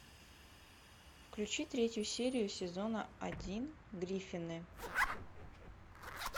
включи третью серию сезона один гриффины